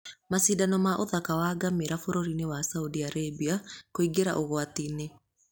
Macindano ma ũthaka wa ngamĩĩra Bũrũri-inĩ wa Saudi Arabia kũingĩra ũgwati-inĩ.